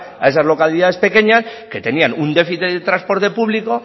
a esas localidades pequeñas que tenían un déficit en el transporte público